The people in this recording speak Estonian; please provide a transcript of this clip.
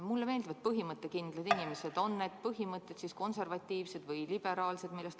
Mulle meeldivad põhimõttekindlad inimesed, on need põhimõtted, millest lähtutakse, siis konservatiivsed või liberaalsed.